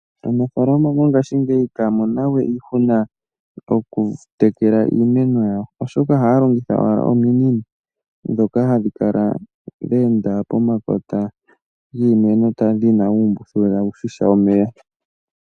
Aanafaalama mongaashingeyi ihaya mono we iihuna okutekela iimeno yawo, oshoka ohaya longitha owala ominino dhoka hadhi kala dheenda pomakota giimeno dhina uumbuthulu tawushisha omeya.